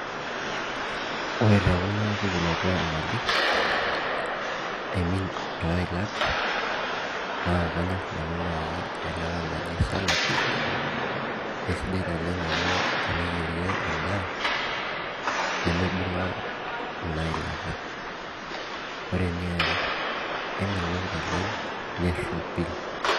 Ore tekuna pukunoto omali imean toilatnabkanyor nanu nai nanu eilata naji salat na kanyor nanu teniyirie endaa nimibunga inailata ore eniare kemelok naleng neropil.